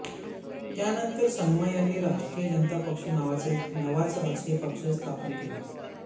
त्यानंतर संगमा यांनी राष्ट्रीय जनता पक्ष नावाचा एक नवाच राजकीय पक्ष स्थापन केला